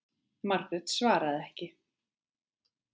Margrét svaraði ekki.